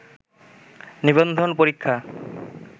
নিবন্ধন পরীক্ষা